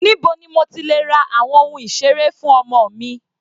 Níbo ni mo ti lè ra àwọn ohun ìseré fún ọmọ mi?